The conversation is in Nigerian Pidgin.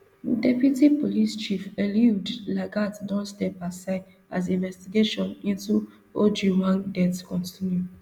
deputy police chief eliud lagat don step asideas investigation into ojwang death continue